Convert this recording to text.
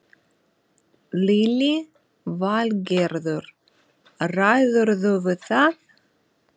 Lillý Valgerður: Ræðurðu við það?